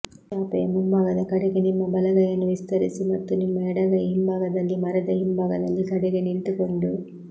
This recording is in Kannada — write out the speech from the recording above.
ಚಾಪೆಯ ಮುಂಭಾಗದ ಕಡೆಗೆ ನಿಮ್ಮ ಬಲಗೈಯನ್ನು ವಿಸ್ತರಿಸಿ ಮತ್ತು ನಿಮ್ಮ ಎಡಗೈ ಹಿಂಭಾಗದಲ್ಲಿ ಮರದ ಹಿಂಭಾಗದಲ್ಲಿ ಕಡೆಗೆ ನಿಂತುಕೊಂಡು